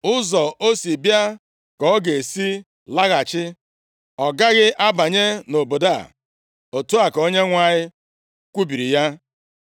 Ụzọ o si bịa ka ọ ga-esi laghachi; ọ gaghị abanye nʼobodo a. Otu a ka Onyenwe anyị kwubiri ya.